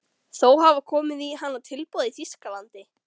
Þó hafa komið í hana tilboð í Þýskalandi.